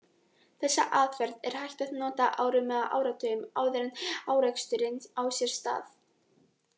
Þessa aðferð er hægt að nota árum eða áratugum áður en áreksturinn á sér stað.